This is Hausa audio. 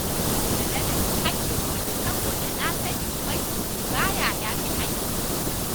Bana yarda na ci haƙƙin wani, saboda na sani ubangiji ba ya yafe haƙƙin wani.